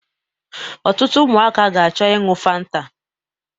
Otụtụ ụmụaka ga-acho iñyu fanta